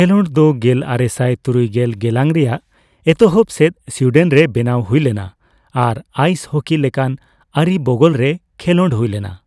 ᱠᱷᱮᱞᱚᱸᱰ ᱫᱚ ᱜᱮᱞᱟᱨᱮᱥᱟᱭ ᱛᱩᱨᱩᱭᱜᱮᱞ ᱜᱮᱞᱟᱝ ᱨᱮᱭᱟᱜ ᱮᱛᱚᱦᱚᱵᱽ ᱥᱮᱫ ᱥᱩᱭᱰᱮᱱᱨᱮ ᱵᱮᱱᱟᱣ ᱦᱩᱭᱞᱮᱱᱟ ᱟᱨ ᱟᱭᱤᱥ ᱦᱚᱠᱤ ᱞᱮᱠᱟᱱ ᱟᱹᱨᱤ ᱵᱚᱜᱚᱞ ᱨᱮ ᱠᱷᱮᱞᱚᱸᱰ ᱦᱩᱭᱞᱮᱱᱟ ᱾